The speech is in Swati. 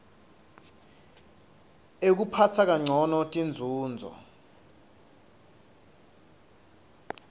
ekuphatsa kancono tinzunzo